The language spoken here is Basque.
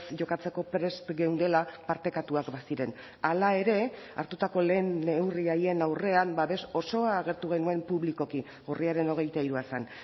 jokatzeko prest geundela partekatuak baziren hala ere hartutako lehen neurri haien aurrean babes osoa agertu genuen publikoki urriaren hogeita hirua zen